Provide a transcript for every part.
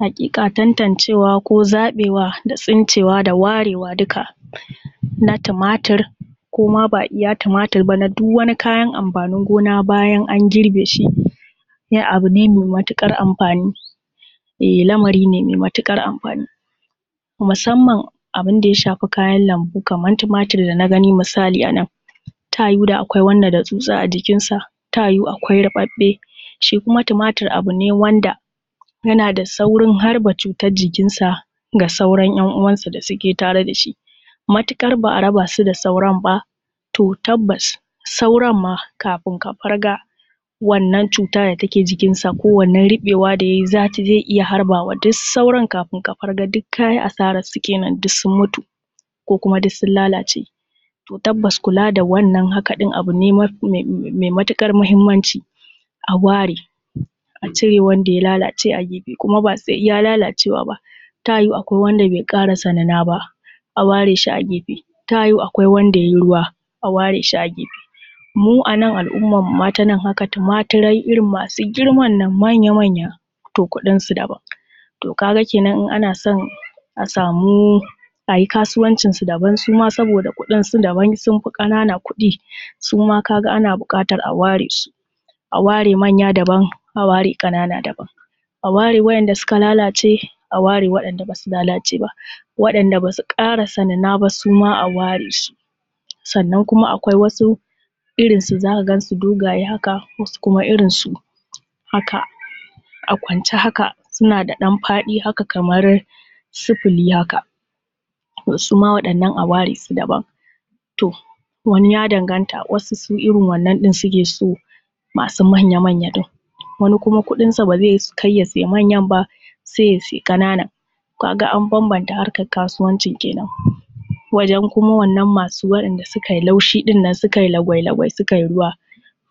Haƙiƙa tantancewa ko zaɓewa da tsincewa da warewa duka na tumatur ko ma ba iya tumatur ba na duk wani kayan amfanini gona bayan an girbe shi ai abu ne mai matuƙar amfani, eh lamari ne mai matuƙar amfami. Musamman abin da ya shafi kayan lambu kamar tumatur da na gani misali a nan ta yiwu da akwai wanda da tsutsa a jikinsa, ta yiwu akwai ruɓɓaɓe. Shi kuma tumatur bai wnada yana da saurin harba cutan jikinsa ga sauran 'yan'uwansa da suke tare da shi, matuƙar ba a raba su da sauran ba, to tabbas sauran ma kafin ka farga wannan cuta da take jikinsa ko wannan ruɓewa da ya yi zai iya harbawa, duk sauran kafin ka farga ka yi asararsu kenan duk sun mutu kuma duk sun lalace. To tabbas kula da wannan haka ɗin abu ne mai matuƙar mahimmanci a ware, a cire wanda ya lalace a gefe kuma ba sai iya lalacewa ba ta yiwu akwai wanda bai ƙarasa nuna ba, a ware shi a gefe, ta yiwu akwai wanda ya yi ruwa, a ware shi a gefe. Mu anan al'ummanmu ma ta nan haka, tumaturai irin masu girman nan manya-manya to kuɗinsu daban. To ka ga kenan in ana so a samu, a yi kasuwancinsu daban su ma saboda kuɗinsu daban, sun fi ƙanana kuɗi, su ma ka ga ana buƙata a ware su. A ware manya daban, a ware ƙanana daban, a ware wa'inda suka lalace, a ware waɗanda basu lalace ba, waɗanda ba su ƙarike nuna ba su ma a ware su. Sannan kuma akwai wasu, irinsu za ka gansu dogaye haka, wasu kuma irinsu haka a kwance haka suna da ɗan faɗi haka kamar sifili haka, to su ma waɗannan a ware su daban. To wani ya danganta, wasu su irin wannan ɗin suke so masu manya-manya ɗin, wani kuma kuɗinsa ba zai kai ya siya manya ba sai ya siya ƙanana, ka ga an bambanta harkan kasuwancin kenan. Wajen kuma masu wa'inda suka yi laushi ɗinnan suka yi lagwai-lagwai suka yi ruwa,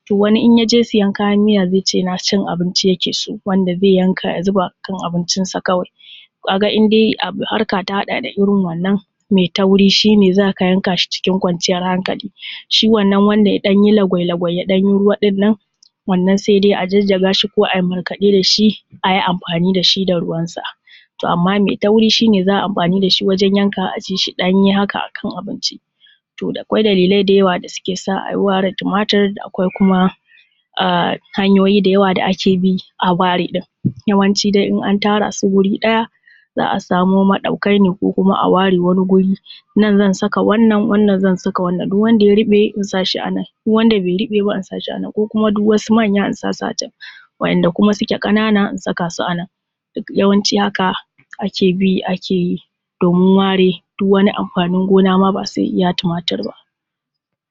to wani in ya je siyan kayan mita zai ce na cin abinci yake so, wanda zai yanka ya zuba akan abincinsa kawai. Ka ga in dai harka ta haɗa da irin wannan mai tauri shi ne za ka yanka shi cikin kwanciyar hankali, shi wannan wanda ya ɗan yi lagwai-lagwai ya ɗan yi ruwa ɗin nan, wannan sai dai a jajjaga shi ko a yi markaɗe da shi a yi amfani da shi da ruwansa. To amma mai tauri shi ne za a yi amfani da shi wajen ya kawa a ci shi ɗanye haka akan abinci. To da kwai dalilai da yawa da suke sa a ware tumatur, akwai kuma hanyoyi da yawa da ake bi a ware ɗin yawanci dai in an tara su wuri ɗaya za a samo maɗaukai ne ko kuma a ware wani guri, nan zan saka wannan, wannan zan saka wannan, duk wanda ya ruɓe in sa shi a nan, duk wanda bai ruɓe ba in sa shi a nan, ko kuma duk wasu manya in sa su a can, wa'inda kuma suke ƙanana in saka su a nan. Duk yawanci haka ake bi ake domin ware duk wani amfanin gona na ba sai iya tumatur ba.